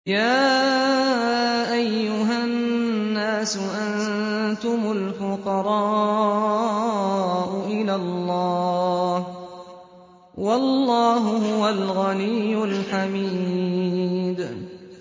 ۞ يَا أَيُّهَا النَّاسُ أَنتُمُ الْفُقَرَاءُ إِلَى اللَّهِ ۖ وَاللَّهُ هُوَ الْغَنِيُّ الْحَمِيدُ